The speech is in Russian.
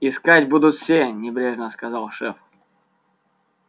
искать будут все небрежно сказал шеф